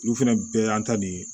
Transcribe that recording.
Olu fɛnɛ bɛɛ y'an ta nin